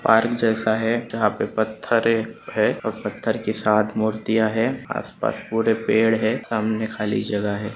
Park जैसा है जहा पे पत्थरे है और पत्थर के साथ मूर्तिया है आसपास भूरे पेड़ है सामने खाली जगह है।